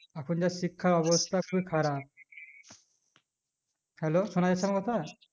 এখন কার শিক্ষার অবস্থা খুব খারাপ hello শোনাযাচ্ছে আমার কথা